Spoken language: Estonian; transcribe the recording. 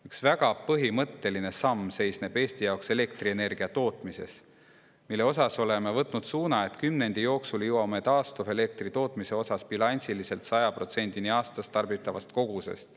Üks väga põhimõtteline samm seisneb Eesti jaoks selles, et elektrienergia tootmise puhul oleme võtnud suuna, et kümnendi jooksul jõuame taastuvelektri tootmisega bilansiliselt 100%‑ni aastas tarbitavast kogusest.